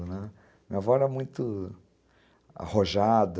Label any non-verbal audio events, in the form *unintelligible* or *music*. *unintelligible* Minha avó era muito arrojada,